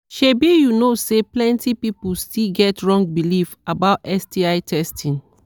shebi you know say plenty people still get wrong belief about sti testing